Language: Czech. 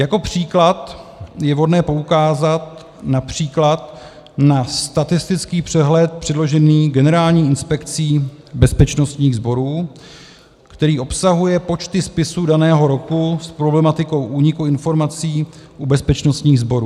Jako příklad je vhodné poukázat například na statistický přehled předložený Generální inspekcí bezpečnostních sborů, který obsahuje počty spisů daného roku s problematikou úniku informací u bezpečnostních sborů.